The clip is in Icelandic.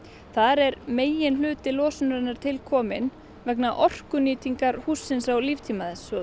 þar er meginhluti losunar til kominn vegna orkunotkunar hússins á líftíma þess og